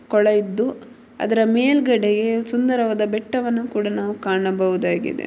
ಕೊಳ ಇದ್ದು ಅದರ ಮೇಲೆ ಒಂದು ಸುಂದರವಾದ ಕಾಣಬಹುದಾಗಿದೆ ಬೆಟ್ಟವನ್ನು ಕೂಡ ನಾವು ಕಾಣಬಹುದಾಗಿದೆ.